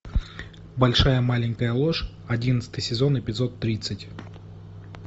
большая маленькая ложь одиннадцатый сезон эпизод тридцать